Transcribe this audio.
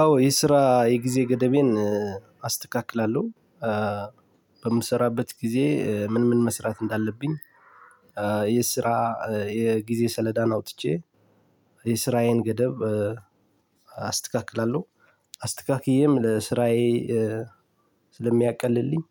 አዎ የስራ የጊዜ ገደበን አስተካክላለሁ በምሰራበት ጊዜ ምን ምን መስራት እንዳለብኝ የስራ የጊዜ ሰሌዳን አውጥቼ የሠራዬን ገደብ አስተካክላለሁ። አስተካክየም ስራዬ ስለምያቀልልኝ